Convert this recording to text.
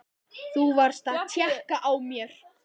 Þú varst að tékka á mér!